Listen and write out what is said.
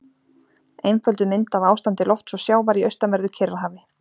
Einfölduð mynd af ástandi lofts og sjávar í austanverðu Kyrrahafi.